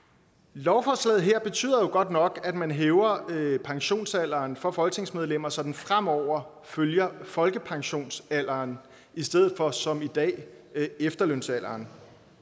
lovforslaget her betyder godt nok at man hæver pensionsalderen for folketingsmedlemmer så den fremover følger folkepensionsalderen i stedet for som i dag efterlønsalderen